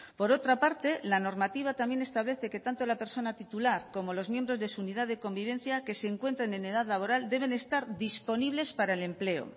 por otra parte la normativa también establece que tanto la persona titular como los miembros de su unidad de convivencia que se encuentran en edad laboral deben estar disponibles para el empleo